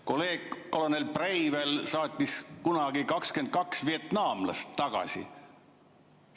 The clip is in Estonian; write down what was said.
Kolleeg kolonel Breivel saatis kunagi 22 vietnamlast tagasi.